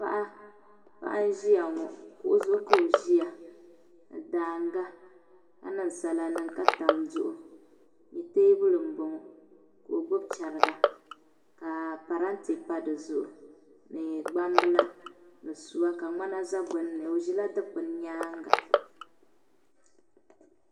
Paɣa n ʒiya ŋo kuɣu zuɣu ka o ʒiya ŋo ni daanga ka niŋ sala niŋ ka tam duɣu ni teebuli n boŋo ka o gbubi chɛriga ka parantɛ pa dizuɣu ni gbambila ni suwa ka ŋmana za gbunni o ʒɛla dikpuni nyaanga